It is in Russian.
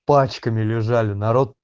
пачками лежали народ